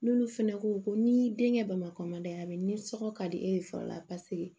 N'olu fɛnɛ ko ko ni denkɛ bamakɔ man d'a ye ni sɔkɔ ka di e ye fɔlɔ la paseke